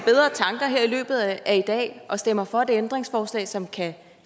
tanker her i løbet af i dag og stemmer for det ændringsforslag som kan